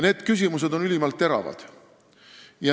Need küsimused on ülimalt teravad.